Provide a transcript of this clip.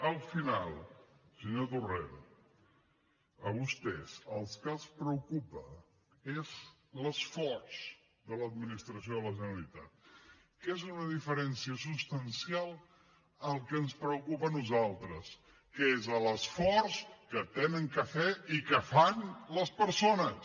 al final senyor torrent a vostès el que els preocupa és l’esforç de l’administració de la generalitat que és una diferència substancial del que ens preocupa a nosaltres que és l’esforç que han de fer i que fan les persones